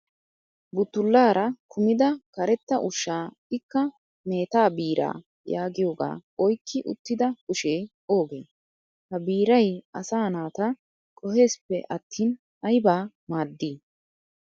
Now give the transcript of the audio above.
Buttullaara kumida karetta ushshaa ikka "meta biraa" yaagiyoogaa oyikki uttida kushee oogee? Ha biiray asaa naata qoheesippe attin ayibaa maaddii?